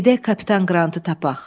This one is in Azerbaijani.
Gedək Kapitan Qrantı tapaq.